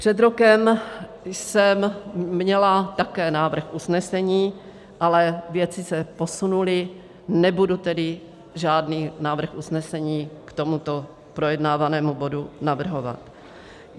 Před rokem jsem měla také návrh usnesení, ale věci se posunuly, nebudu tedy žádný návrh usnesení k tomuto projednávanému bodu navrhovat.